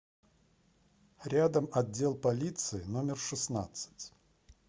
рядом отдел полиции номер шестнадцать